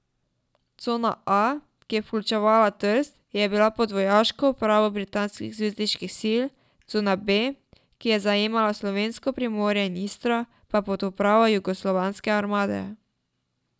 Cona A, ki je vključevala Trst, je bila pod vojaško upravo britanskih zavezniških sil, cona B, ki je zajemala slovensko Primorje in Istro, pa pod upravo Jugoslovanske armade.